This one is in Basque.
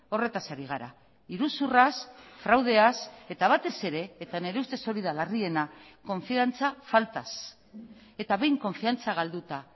horretaz ari gara iruzurraz fraudeaz eta batez ere eta nire ustez hori da larriena konfiantza faltaz eta behin konfiantza galduta